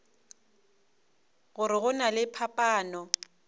gore go na le phapano